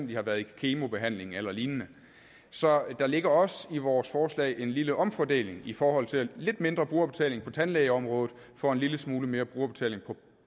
de har været i kemobehandling eller lignende så der ligger også i vores forslag en lille omfordeling i forhold til lidt mindre brugerbetaling på tandlægeområdet for en lille smule mere brugerbetaling hos